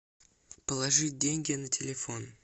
положить деньги на телефон